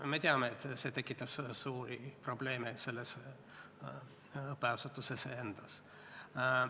Me teame, et see tekitab suuri probleeme selles õppeasutuses endas.